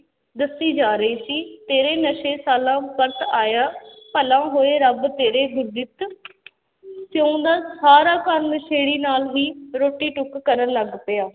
ਦੱਸੀ ਜਾ ਰਹੀ ਸੀ ਤੇਰੇ ਨਸ਼ੇ ਸਾਲਾਂ ਪਰਤ ਆਇਆ ਭਲਾ ਹੋਏ ਰੱਬ ਤੇਰੇ ਗੁਰਜਿਤ ਸਾਰਾ ਘਰ ਨਸ਼ੇੜੀ ਨਾਲ ਹੀ ਰੋਟੀ ਟੁੱਕ ਕਰਨ ਲੱਗ ਪਿਆ।